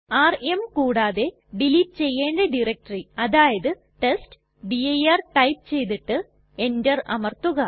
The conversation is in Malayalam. ആർഎം കൂടാതെ ഡിലീറ്റ് ചെയ്യണ്ട ഡയറക്ടറി അതായത് ടെസ്റ്റ്ഡിർ ടൈപ്പ് ചെയ്തിട്ട് എന്റർ അമർത്തുക